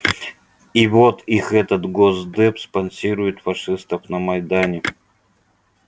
и вот их этот госдеп спонсирует фашистов на майдане